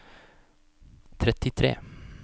trettitre